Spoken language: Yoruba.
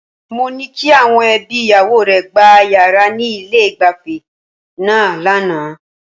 Mo ní kí àwọn ẹbí ìyàwó rẹ̀ gba yàrá ní ilé-ìgbafẹ́ náà lánàá.